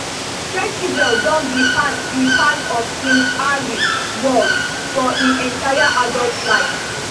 sentebale don be part be part of prince harry world for im entire adult life